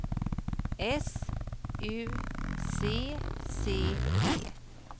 S U C C E